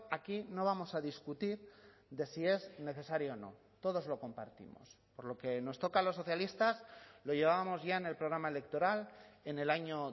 aquí no vamos a discutir de si es necesario o no todos lo compartimos por lo que nos toca a los socialistas lo llevábamos ya en el programa electoral en el año